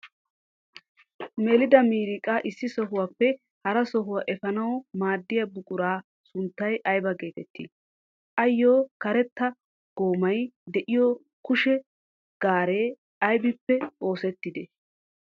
Melida miiriqa issi sohuwappe hara sohuwa efanawu maadiya buquraa sunttay aybaa geettettii? Ayo karetta goommay de'iyo kushe gaaree aybippe oosettidee?